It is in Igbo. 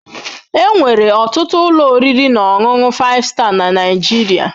Enwere ọtụtụ ụlọ oriri na ọṅụṅụ 5star na Nigeria